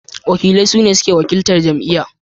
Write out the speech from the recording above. wakilai suna suke wakiltar jam'iyya.